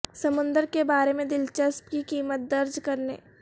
سمندر کے بارے میں دلچسپ کی قیمت درج کرنے